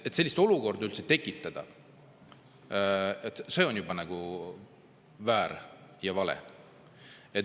Selline olukord üldse tekitada on väär ja vale.